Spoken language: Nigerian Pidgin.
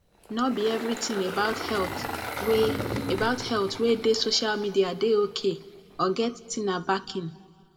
no be eveything about health wey about health wey dey social media dey ok or get tina backing